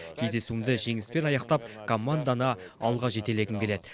кездесуімді жеңіспен аяқтап команданы алға жетелегім келеді